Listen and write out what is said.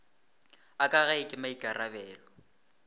a ka gae ke maikarabelo